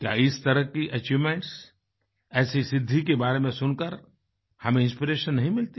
क्या इस तरह की अचीवमेंट्स ऐसी सिद्धि के बारे में सुनकर हमें इंस्पिरेशन नहीं मिलती